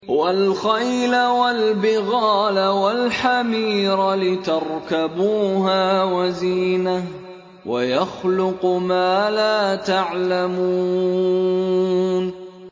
وَالْخَيْلَ وَالْبِغَالَ وَالْحَمِيرَ لِتَرْكَبُوهَا وَزِينَةً ۚ وَيَخْلُقُ مَا لَا تَعْلَمُونَ